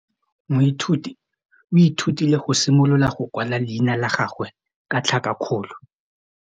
Moithuti o ithutile go simolola go kwala leina la gagwe ka tlhakakgolo.